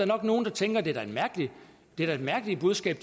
nok nogle der tænker at det da er et mærkeligt budskab at